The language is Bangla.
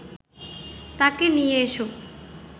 তাঁকে নিয়ে এসো